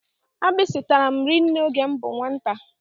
Agbisi tàrà m rinne oge m bú nwata.